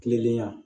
Kilenlenya